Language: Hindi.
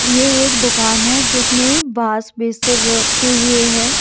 ये एक दुकान है जिसमें बासबेसर से रखे हुए है।